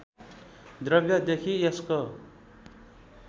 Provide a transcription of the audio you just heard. द्रव्यदेखि यसको